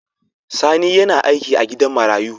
Sani yAna aiki a gidan marayu